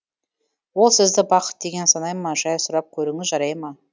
ол сізді бақыт деген санай ма жай сұрап көріңіз жарай ма